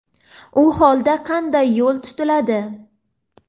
u holda qanday yo‘l tutiladi?.